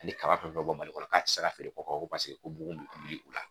Ni kaba fɛn fɛn bɛ bɔ Mali kɔnɔ k'a tɛ se ka feere kɔ ko bugun bɛ wuli u la